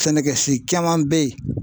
Sɛnɛkɛsi caman bɛ yen